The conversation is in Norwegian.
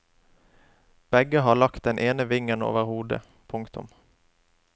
Begge har lagt den ene vingen over hodet. punktum